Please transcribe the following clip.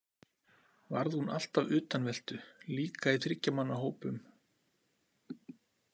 Varð hún alltaf utanveltu líka í þriggja manna hópum?